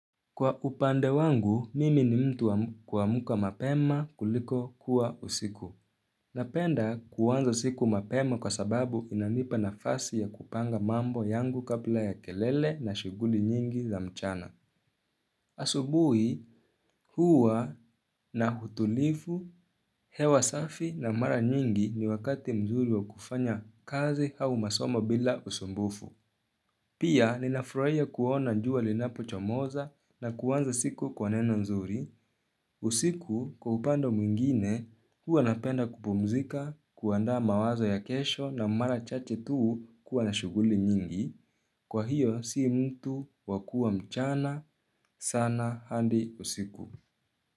Kwa upande wangu, mimi ni mtu huamka mapema kuliko kuwa usiku. Napenda kuanza siku mapema kwa sababu inanipa nafasi ya kupanga mambo yangu kabla ya kelele na shughuli nyingi za mchana. Asubuhi, huwa na utulivu, hewa safi na mara nyingi ni wakati mzuri wa kufanya kazi au masomo bila usumbufu. Pia ninafurahia kuona jua linapochomoza na kuanza siku kwa neno nzuri. Usiku kwa upande mwingine huwa napenda kupumzika kuanda mawazo ya kesho na mara chache tuu kuwa na shughuli nyingi. Kwa hiyo sii mtu wakua mchana sana hadi usiku.